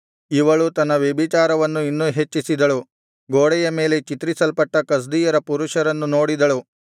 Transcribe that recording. ಇವಳು ತನ್ನ ವ್ಯಭಿಚಾರವನ್ನು ಇನ್ನೂ ಹೆಚ್ಚಿಸಿದಳು ಗೋಡೆಯ ಮೇಲೆ ಚಿತ್ರಿಸಲ್ಪಟ್ಟ ಕಸ್ದೀಯರ ಪುರುಷರನ್ನು ನೋಡಿದಳು